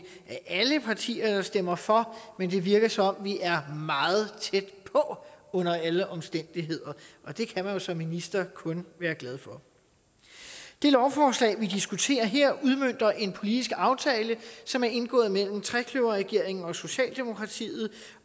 alle partier der stemmer for men det virker som om vi er meget tæt på under alle omstændigheder og det kan man som minister kun være glad for det lovforslag vi diskuterer her udmønter en politisk aftale som er indgået mellem trekløverregeringen og socialdemokratiet